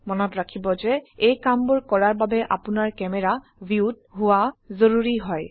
মনত ৰাখিব যে এই কামবোৰ কৰাৰ বাবে আপোনাৰ ক্যামেৰা ভিউত হোৱা জৰুৰী হয়